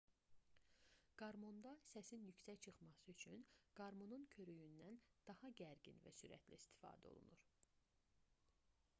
qarmonda səsin yüksək çıxması üçün qarmonun körüyündən daha gərgin və sürətlə istifadə olunur